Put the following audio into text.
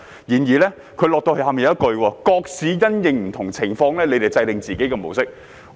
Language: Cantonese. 然而，他們有一句後話，就是各市因應不同情況制訂自己的模式。